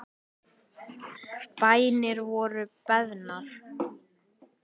Bænir voru beðnar.